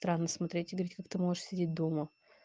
странно смотреть и говорить как ты можешь сидеть дома